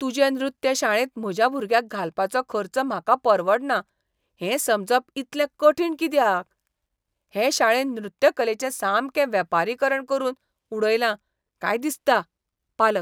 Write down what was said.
तुजे नृत्य शाळेंत म्हज्या भुरग्याक घालपाचो खर्च म्हाका परवडना हें समजप इतलें कठीण कित्याक? हे शाळेन नृत्यकलेचें सामकें वेपारीकरण करून उडयलां काय दिसता. पालक